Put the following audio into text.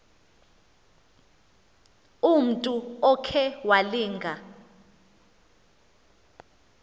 umntu okhe walinga